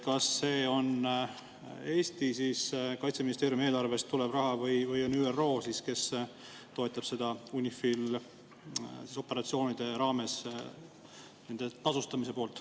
Kas see raha tuleb Eesti Kaitseministeeriumi eelarvest või on see ÜRO, kes toetab UNIFIL-i operatsioonide raames nende tasustamist?